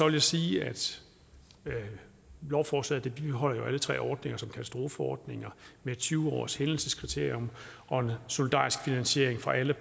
jeg sige at lovforslaget jo bibeholder alle tre ordninger som katastrofeordninger med tyve års hændelseskriterium og en solidarisk finansiering fra alle